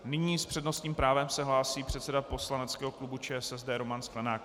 Nyní s přednostním právem se hlásí předseda poslaneckého klubu ČSSD Roman Sklenák.